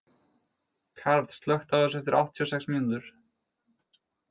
Karl, slökktu á þessu eftir áttatíu og sex mínútur.